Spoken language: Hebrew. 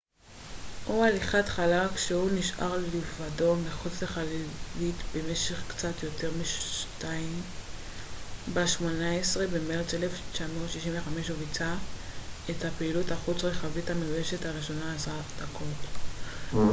"ב-18 במרץ 1965 הוא ביצע את הפעילות החוץ רכבית המאוישת הראשונה eva או "הליכת חלל" כשהוא נשאר לבדו מחוץ לחללית במשך קצת יותר משתיים עשרה דקות.